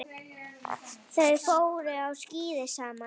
Þau fóru á skíði saman.